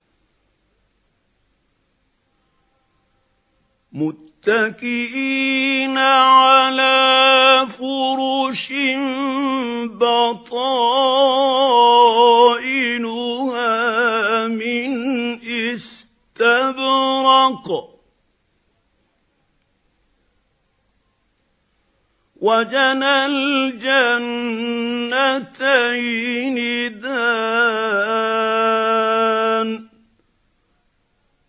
مُتَّكِئِينَ عَلَىٰ فُرُشٍ بَطَائِنُهَا مِنْ إِسْتَبْرَقٍ ۚ وَجَنَى الْجَنَّتَيْنِ دَانٍ